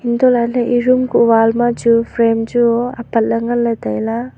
hantoh lah ley ye room ku wall ma chu frame chu apat ley tai ley.